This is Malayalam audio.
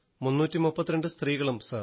332 സ്ത്രീകളും സർ